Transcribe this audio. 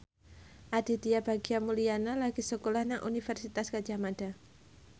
Aditya Bagja Mulyana lagi sekolah nang Universitas Gadjah Mada